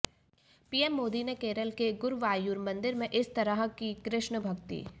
PM Modi ने केरल के गुरुवायूर मंदिर में इस तरह की कृष्ण भक्ति